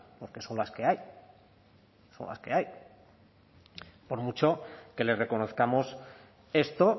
porque son las que hay por mucho que les reconozcamos esto